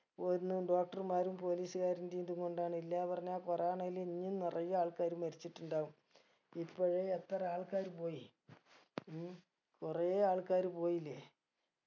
ഓര്ന്ന് doctor മാരും police കാരന്റേം ഇതും കൊണ്ടാണ് ഇല്ല പറഞ്ഞാ corona ഇല് ഇനിയും നിറയെ ആൾക്കാര് മരിച്ചിട്ടുണ്ടാവും പിപ്പഴേ എത്ര ആൾക്കാര് പോയി ഉം കൊറേ ആൾക്കാര് പോയിലേ